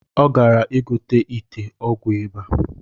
Ọ gara igote ite ọgwụ ịba